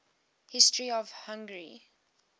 history of hungary